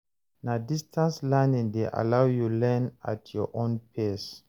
Na distance learning dey allow you learn at your own pace.